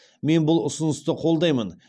мен бұл ұсынысты қолдаймын